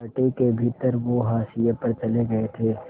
party के भीतर वो हाशिए पर चले गए थे